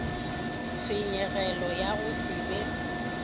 tshenyegelo ya go se be